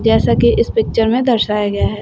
जैसा कि इस पिक्चर में दर्शाया गया है।